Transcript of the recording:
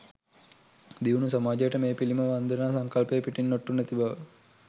දියුණු සමාජයට මේ පිළිම වන්දනා සංකල්පය පිටින් ඔට්ටු නැති බව.